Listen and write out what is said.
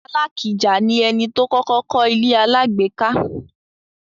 Alakija ni ẹni tó kọ́kọ́ kọ́ ilé-alágbèéká.